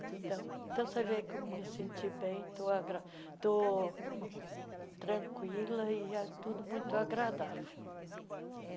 Então, então você vê como eu me senti bem, tô agra tô tranquila e é tudo muito agradável.